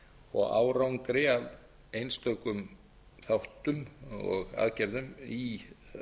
og árangri af einstökum þáttum og aðgerðum í